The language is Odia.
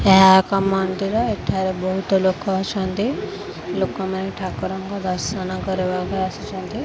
ଏହା ଏକ ମନ୍ଦିର ଏଠାରେ ବହୁତ ଲୋକ ଅଛନ୍ତି ଲୋକମାନେ ଠାକୁରଙ୍କ ଦର୍ଶନ କରିବାକୁ ଆସିଛନ୍ତି।